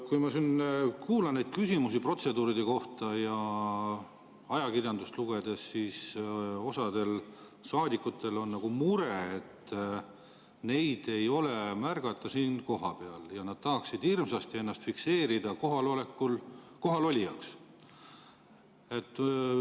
Kui ma kuulan neid küsimusi protseduuride kohta ja loen ajakirjandust, siis osal saadikutel on mure, et neid ei ole märgata siin kohapeal ja nad tahaksid hirmsasti ennast kohalolijaks fikseerida.